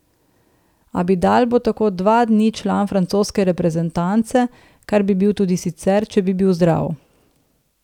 Abidal bo tako dva dni član francoske reprezentance, kar bi bil tudi sicer, če bi bil zdrav.